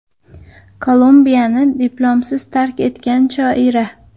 Kolumbiyani diplomsiz tark etgan shoira.